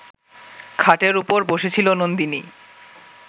খাটের ওপর বসেছিল নন্দিনী